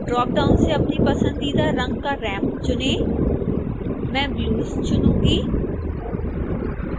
dropdown से अपनी पसंदीदा रंग का रैंप चुनें मैं blues चुनूंगी